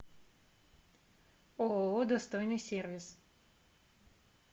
ооо достойный сервис